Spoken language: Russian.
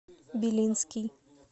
белинский